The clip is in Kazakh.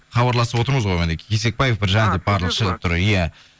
хабарласып отырмыз ғой мінекей кесекбаев біржан деп барлығы шығып тұр иә